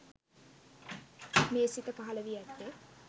මේ සිත පහළවී ඇත්තේ